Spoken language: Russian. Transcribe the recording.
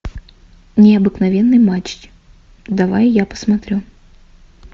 необыкновенный матч давай я посмотрю